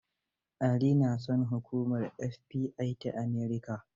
Ali na son hukumar FBI ta America